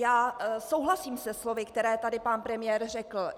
Já souhlasím se slovy, která tady pan premiér řekl.